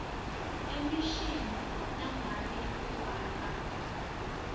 emishini nangabe ufaka